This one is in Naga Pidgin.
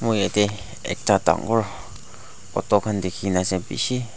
mui yati ekta dangor auto khan dikhi ase busi.